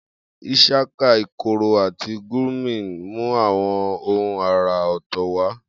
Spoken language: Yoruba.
Ishaka, ikoro, àti gurmi mú àwọn ohùn àrà ọ̀tọ̀ wá.